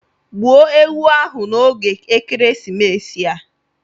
Gbuo ewu ahụ n'oge ekeresimesi a.